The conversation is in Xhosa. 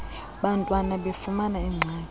bantwana befumana iingxaki